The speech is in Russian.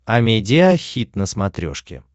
амедиа хит на смотрешке